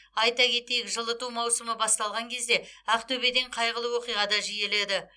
айта кетейік жылыту маусымы басталған кезде ақтөбеден қайғылы оқиға да жиіледі